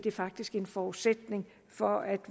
er faktisk en forudsætning for at